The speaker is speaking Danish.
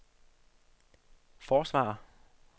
forsvarer